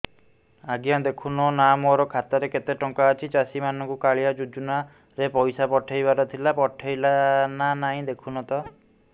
ଆଜ୍ଞା ଦେଖୁନ ନା ମୋର ଖାତାରେ କେତେ ଟଙ୍କା ଅଛି ଚାଷୀ ମାନଙ୍କୁ କାଳିଆ ଯୁଜୁନା ରେ ପଇସା ପଠେଇବାର ଥିଲା ପଠେଇଲା ନା ନାଇଁ ଦେଖୁନ ତ